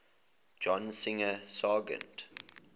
john singer sargent